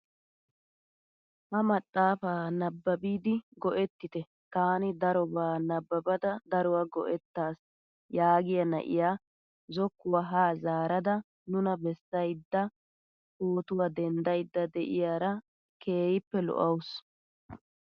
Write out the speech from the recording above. Ha maxaafaa nababidi go"ettite taani darobaa nababada daruwaa go"ettaas yaagiyaa naa'iyaa zokkuwaa haa zaarada nuna bessayda pootuwaa denddayda de'iyara keehippe lo"awus!